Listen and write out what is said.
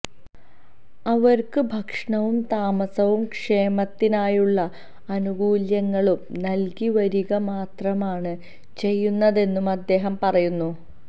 അവര്ക്ക് ഭക്ഷണവും താമസവും ക്ഷേമത്തിനായുള്ള ആനുകൂല്യങ്ങളും നല്കിവരികമാത്രമാണ് ചെയ്യുന്നതെന്നും അദ്ദേഹം പറയുന്നു